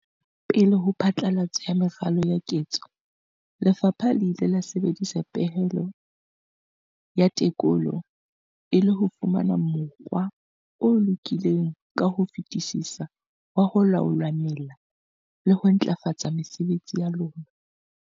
Pele ho phatlalatso ya meralo ya ketso, lefapha le ile la sebedisa pehelo ya tekolo e le ho fumana mokgwa o lokileng ka ho fetisisa wa ho laola mela le ho ntlafatsa mesebetsi ya lona.